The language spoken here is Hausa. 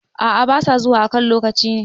A`a ba sa zuwa a kan lokaci ne